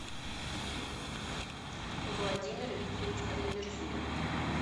владимир викторович алимерзоев